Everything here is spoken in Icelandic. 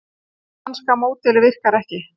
Kúbanska módelið virkar ekki